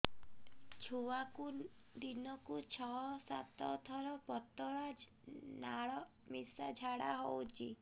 ଛୁଆକୁ ଦିନକୁ ଛଅ ସାତ ଥର ପତଳା ନାଳ ମିଶା ଝାଡ଼ା ହଉଚି